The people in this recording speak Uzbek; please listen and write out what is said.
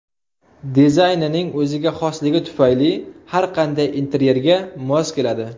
Dizaynining o‘ziga xosligi tufayli har qanday interyerga mos keladi.